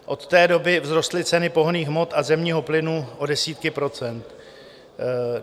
Od té doby vzrostly ceny pohonných hmot a zemního plynu o desítky procent.